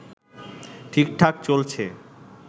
ঠিকঠাক চলছে